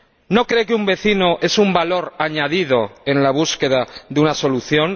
¿No cree que un vecino es un valor añadido en la búsqueda de una solución?